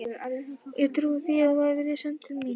Ég trúi því að þú hafir verið send til mín.